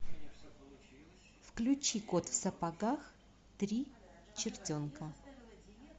включи кот в сапогах три чертенка